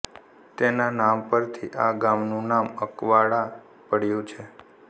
તેના નામ પરથી આ ગામનું નામ અકવાડા પડ્યું છે